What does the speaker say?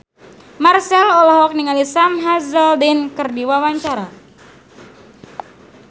Marchell olohok ningali Sam Hazeldine keur diwawancara